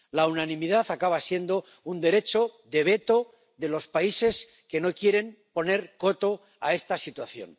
La unanimidad acaba siendo un derecho de veto de los países que no quieren poner coto a esta situación.